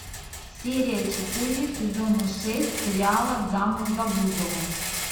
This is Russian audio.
серия четыре сезона шесть сериала замуж за бузову